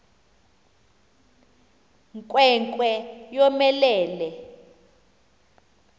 nkwe nkwe yomelele